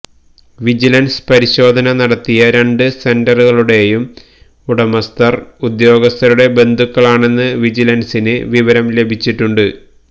vigilance പരിശോധന നടത്തിയ രണ്ട് സെന്ററുകളുടെയും ഉടമസ്ഥർ ഉദ്യോഗസ്ഥരുടെ ബന്ധുക്കളാണെന്ന് വിജിലൻസിന് വിവരം ലഭിച്ചിട്ടുണ്ട്